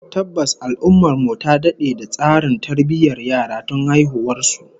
Tabbas, al'ummar mu ta dade da tsarin tarbiyyar yara tun haihuwar su